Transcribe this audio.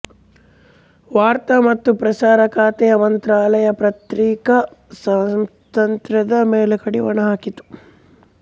ವಾರ್ತಾ ಮತ್ತು ಪ್ರಸಾರ ಖಾತೆ ಮಂತ್ರಾಲಯ ಪತ್ರಿಕಾ ಸ್ವಾತಂತ್ರ್ಯದ ಮೇಲೆ ಕಡಿವಾಣ ಹಾಕಿತು